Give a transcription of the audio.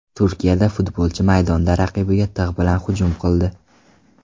Turkiyada futbolchi maydonda raqibiga tig‘ bilan hujum qildi.